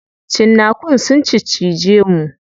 Cinnakun sun ciccije mu.